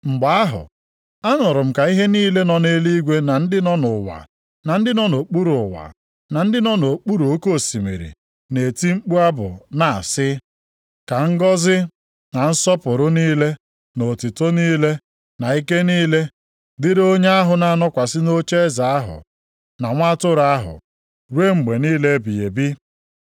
Mgbe ahụ, anụrụ m ka ihe niile nọ nʼeluigwe na ndị nọ nʼụwa na ndị nọ nʼokpuru ụwa, na ndị nọ nʼokpuru oke osimiri na-eti mkpu abụ na-asị, “Ka ngọzị, na nsọpụrụ niile, na otuto niile, na ike niile dịrị onye ahụ na-anọkwasị nʼocheeze ahụ, na Nwa Atụrụ ahụ ruo mgbe niile ebighị ebi!”